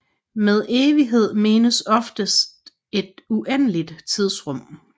Med evighed menes oftest et uendeligt tidsrum